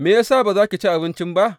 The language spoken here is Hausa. Me ya sa ba za ki ci abinci ba?